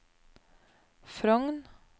Frogn